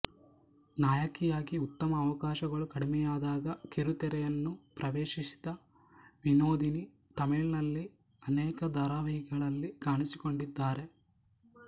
ನಾಯಕಿಯಾಗಿ ಉತ್ತಮ ಅವಕಾಶಗಳು ಕಡಿಮೆಯಾದಾಗ ಕಿರಿತೆರೆಯನ್ನು ಪ್ರವೇಶಿಸಿದ ವಿನೋದಿನಿ ತಮಿಳಿನಲ್ಲಿ ಅನೇಕ ಧಾರಾವಾಹಿಗಳಲ್ಲಿ ಕಾಣಿಸಿಕೊಂಡಿದ್ದಾರೆ